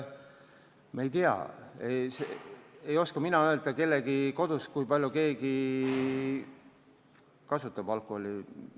Me ei tea, ei oska ka mina öelda, kui palju keegi kodus alkoholi kasutab.